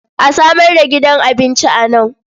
A samar da gidan abinci a nan.